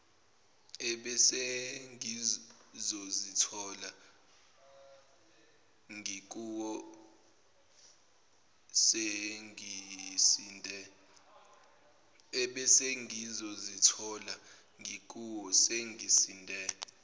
ebesengizozithola ngikuwo sengisinde